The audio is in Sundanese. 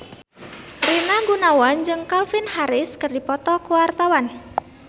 Rina Gunawan jeung Calvin Harris keur dipoto ku wartawan